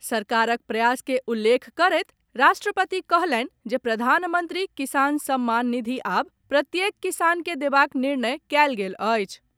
सरकारक प्रयास के उल्लेख करैत राष्ट्रपति कहलनि जे प्रधानमंत्री किसान सम्मान निधि आब प्रत्येक किसान के देबाक निर्णय कयल गेल अछि।